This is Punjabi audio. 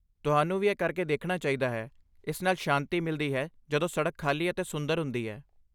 ਤੁਹਾਨੂੰ ਵੀ ਇਹ ਕਰਕੇ ਦੇਖਣਾ ਚਾਹੀਦਾ ਹੈ, ਇਸ ਨਾਲ ਸ਼ਾਂਤੀ ਮਿਲਦੀ ਹੈ ਜਦੋਂ ਸੜਕ ਖਾਲੀ ਅਤੇ ਸੁੰਦਰ ਹੁੰਦੀ ਹੈ।